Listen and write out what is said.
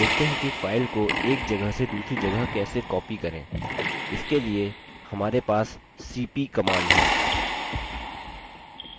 देखते हैं कि file को एक जगह से दूसरी जगह कैसे copy करें इसके लिए हमारे पास cp command है